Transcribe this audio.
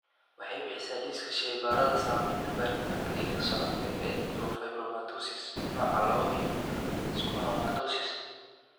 Waxay bixisaa liiska shaybaarrada samaynta baaritaanka hidda-socodka ee neurofibromatosis nooca lawoo iyo schwannomatosis.